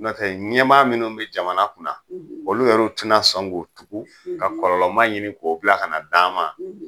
Ntɛ ɲɛmaa minnu be jamana kunna, olu yɛru tɛna sɔn k'u tugu ka kɔlɔlɔma ɲini k'o bila kana d'an ma.